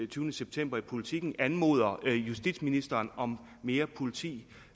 tyvende september i politiken anmoder justitsministeren om mere politi